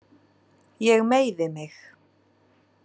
Ég meiði mig.